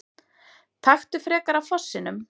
Taktu frekar af fossinum!